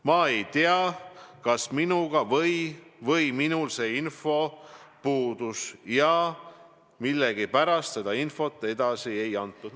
Ma ei tea, kas minuga või minul see info puudus ja millegipärast seda infot edasi ei antud.